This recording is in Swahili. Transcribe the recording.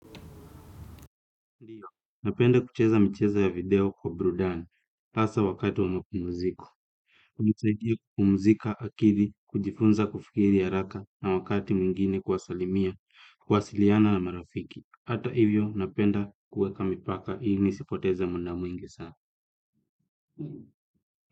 Ndiyo, napenda kucheza mchezo ya video kwa burudani, hasa wakati wa mapumziko. Hunisaidia kupumzika akili, kujifunza kufikiri haraka na wakati mwingine kuwasalimia, kuwasiliana na marafiki. Hata hivyo, napenda kuweka mipaka ili nisipoteze muda mwingi sana.